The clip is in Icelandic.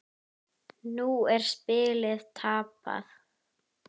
Nú er spilið tapað.